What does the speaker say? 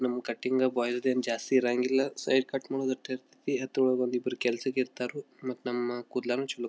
ನಮ್ಮ cutting boys ದೇನು ಜಾಸ್ತಿ ಇರಂಗಿಲ್ಲ ಸೈಡ್ ಕಟ್ ಮಾಡೋದು ಅಷ್ಟೇ ಇರತೈತಿ ಮತ್ ಇಬ್ಬರು ಕೆಲ್ಸಕ್ಕೆ ಇರ್ತರು ಮತ್ ನಮ್ಮ ಕೂಡಲನು ಚಲೋ--